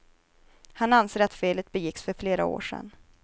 Han anser att felet begicks för flera år sedan.